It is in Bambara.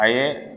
A ye